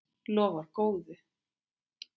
Lofar góðu.